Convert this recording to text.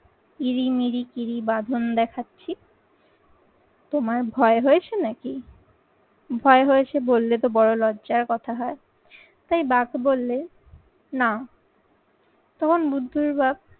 কিরিমিরি কিরি বাঁধন দেখাচ্ছি। তোমার ভয় হয়েছে নাকি? ভয় হয়েছে বললে তো বড় লজ্জার কথা হয় তাই বাঘ বললে না। তখন বুদ্ধির বাপ